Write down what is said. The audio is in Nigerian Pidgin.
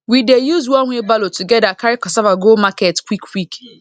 we dey use one wheelbarrow together carry cassava go market quick quick